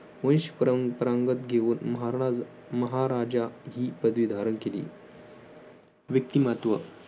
वंश परंपरांगत घेऊन महाराज महाराजा ही पदवी धारण केली. व्यक्तिमत्त्व